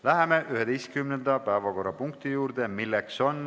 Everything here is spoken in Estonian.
Läheme 11. päevakorrapunkti juurde.